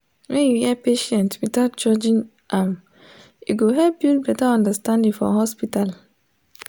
when you hear patient without judging am e go help build better understanding for hospital.